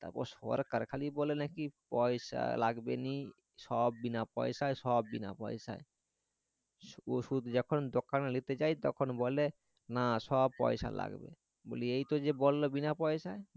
তারপর সরকার খালি বলে নাকি পয়সা লাগবেনি সব বিনা পয়সায় সব বিনা পয়সায় ওষুধ যখন দোকানে নিতে যাই তখন বলে না সব পয়সা লাগবে বলি এই তো যে বললো বিনা পয়সায়